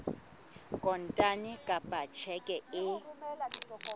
kontane kapa ka tjheke e